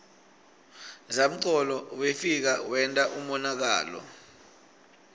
zamcolo wefika wenta umonakalo